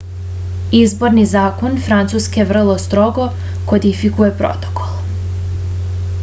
izborni zakon francuske vrlo strogo kodifikuje protokol